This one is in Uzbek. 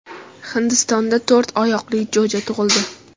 Hindistonda to‘rt oyoqli jo‘ja tug‘ildi .